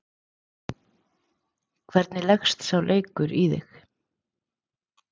Hvernig leggst sá leikur í þig?